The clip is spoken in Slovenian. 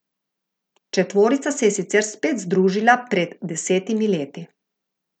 Četvorica se je sicer spet združila pred desetimi leti.